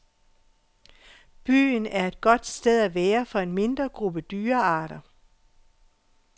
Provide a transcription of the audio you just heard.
Byen er et godt sted at være for en mindre gruppe dyrearter.